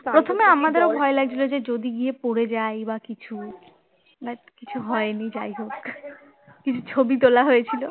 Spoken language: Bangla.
প্রথমে আমারও ভয় লাগছিল যে যদি গিয়ে পড়ে যায় বা কিছু বা কিছু হয়নি যাই হোক ছবি তোলা হয়েছিল